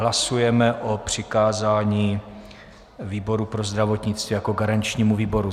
Hlasujeme o přikázání výboru pro zdravotnictví jako garančnímu výboru.